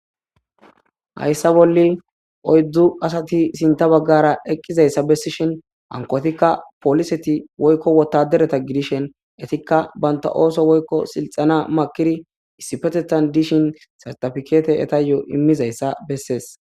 hayssa bolli oyddzu asati sinta baggara eqqizayssa bessishin hankotikka poliseti woykko wotadereta gidishen etikka banta ooso woykko silxana makiri issipetetan dishin sartafkete eta yo'o immizayssa bessees